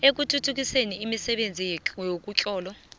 ekuthuthukiseni imisebenzi yemitlolo